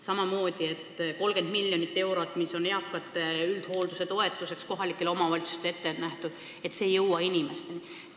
Samamoodi ei ole inimesteni jõudnud 30 miljonit eurot, mis on kohalikele omavalitsustele ette nähtud eakate ja üldhoolduse toetuseks.